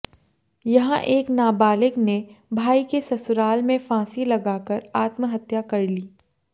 यहां एक नाबालिग ने भाई के ससुराल में फांसी लगाकर आत्महत्या कर ली